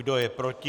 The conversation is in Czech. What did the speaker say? Kdo je proti?